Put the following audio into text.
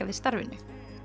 við starfinu